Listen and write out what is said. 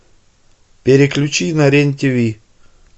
переключи на рен тв